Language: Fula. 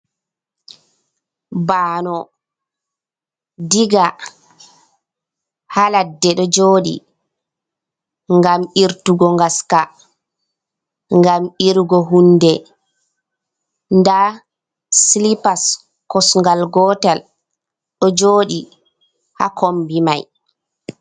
Bano ɗiga ha laɗɗe, ɗo joɗi gam irtugo gaska gam irugo hunɗe ɗa silipas kosgal gotal ɗo joɗi ha komɓi mai.